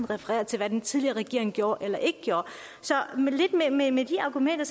referere til hvad den tidligere regering gjorde eller ikke gjorde med de argumenter